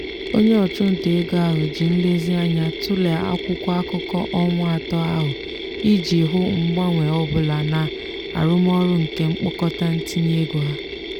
onye ọchụnta ego ahụ ji nlezianya tụle akwụkwọ akụkọ ọnwa atọ ahụ iji hụ mgbanwe ọ bụla na arụmọrụ nke mkpokọta ntinye ego ha.